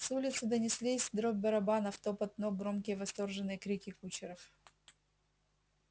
с улицы донеслись дробь барабанов топот ног громкие восторженные крики кучеров